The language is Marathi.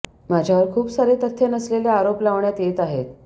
माझ्यावर खूप सारे तथ्य नसलेले आरोप लावण्यात येत आहेत